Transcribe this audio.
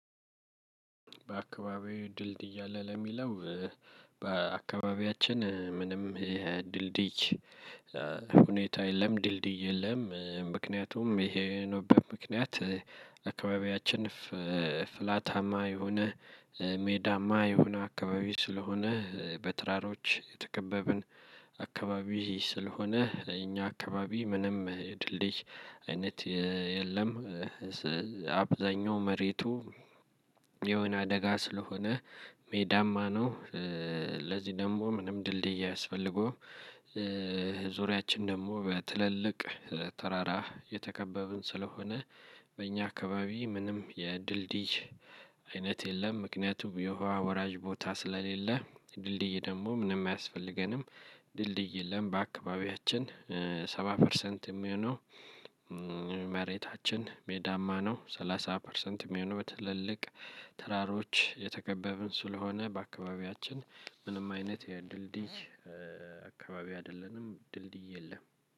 በአካባቢዬ ድልድይ አለ ለሚለው። በአካባቢያችን ምንም ድልድይ ሁኔታ የለም ድልድይ የለም። ምክንያቱም ይሄ የሆነበት ምክንያት አካባቢያችን ፍላታማ የሆነ ሜዳማ የሆነ አካባቢ ስለሆነ በተራሮች የተከበብን አካባቢ ስለሆነ እኛ አካባቢ ምንም ድልድይ አይነት የለም። አብዛኛው መሬቱ የሆነ ደጋ ስለሆነ ሜዳማ ነው። ለዚህ ደግሞ ምንም ድልድይ አያስፈልገውም። ዙሪያችን ደግሞ በትልልቅ ተራራ የተከበብን ስለሆነ በኛ አካባቢ ምንም የድልድይ አይነት የለም። ምክንያቱም የውሃ ወራጅ ቦታ ስለሌለ ድልድይ ደግሞ ምንም አያስፈልገንም። ድልድይ የለም በአካባቢያችን ሰባ ፐርሰንት የሚሆነው መሬታችን ሜዳማ ነው። ሰላሳ ፐርሰንት የሚሆነው በትልልቅ ተራሮች የተከበብን ስለሆነ በአካባቢያችን ምንም አይነት የድልድይ አካባቢ አይደለንም። ድልድይ የለም።